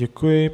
Děkuji.